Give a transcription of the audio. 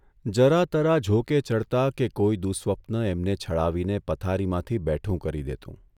જરા તરા ઝોકે ચઢતા કે કોઇ દુસ્વપ્ન એમને છળાવીને પથારીમાંથી બેઠું કરી દેતું.